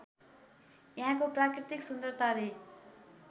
यहाँको प्राकृतिक सुन्दरताले